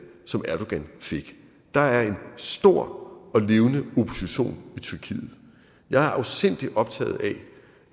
som erdogan fik der er en stor og levende opposition i tyrkiet jeg er afsindig optaget